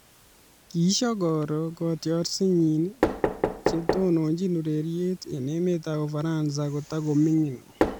Kishokoro kotiorsetnyi che tononjin ureriet eng emetab Ufaransa kotakoming'in.